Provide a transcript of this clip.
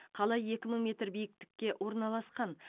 қала екі мың метр биіктікке орналасқан